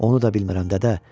Onu da bilmirəm, dədə.